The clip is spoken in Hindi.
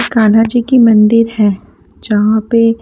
कान्हा जी की मंदिर है जहाँ पे --